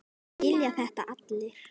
Það skilja þetta allir.